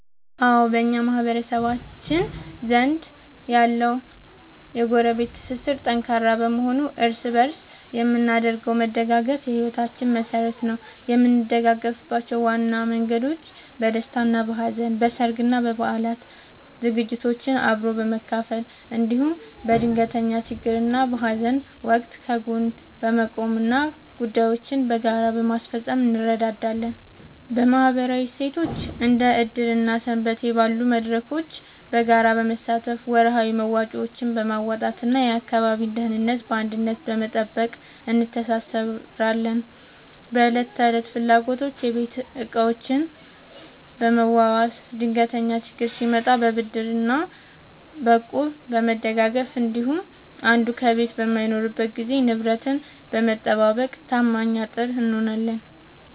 አዎ፣ በማህበረሰባችን ዘንድ ያለው የጎረቤት ትስስር ጠንካራ በመሆኑ እርስ በእርስ የምናደርገው መደጋገፍ የሕይወታችን መሠረት ነው። የምንደጋገፍባቸው ዋና መንገዶች፦ በደስታና በሐዘን፦ በሠርግና በበዓላት ዝግጅቶችን አብሮ በመቀመም፣ እንዲሁም በድንገተኛ ችግርና በሐዘን ወቅት ከጎን በመቆምና ጉዳዮችን በጋራ በማስፈጸም እንረዳዳለን። በማኅበራዊ እሴቶች፦ እንደ ዕድር እና ሰንበቴ ባሉ መድረኮች በጋራ በመሳተፍ፣ ወርሃዊ መዋጮዎችን በማዋጣትና የአካባቢን ደህንነት በአንድነት በመጠበቅ እንተሳሰራለን። በዕለት ተዕለት ፍላጎቶች፦ የቤት ዕቃዎችን በመዋዋስ፣ ድንገተኛ ችግር ሲመጣ በብድርና በእቁብ በመደጋገፍ እንዲሁም አንዱ ከቤት በማይኖርበት ጊዜ ንብረትን በመጠባበቅ ታማኝ አጥር እንሆናለን።